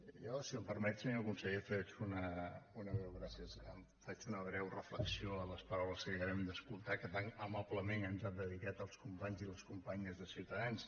jo si em permet senyor conseller faig una breu reflexió a les paraules que acabem d’escoltar que tan amablement ens han dedicat els companys i les companyes de ciutadans